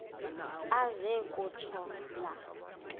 aze kutsho la